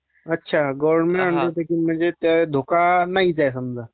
अच्छा... गव्हर्न्मेंट अंडरटेकींगम्हणजे धोका नाहीचं आहे समजा..